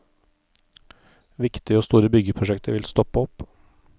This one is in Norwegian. Viktige og store byggeprosjekter vil stoppe opp.